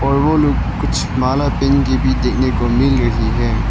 और वो लोग कुछ माला पहेन के भी देखने को मिल रही है।